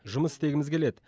жұмыс істегіміз келеді